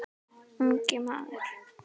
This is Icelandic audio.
Ungi maður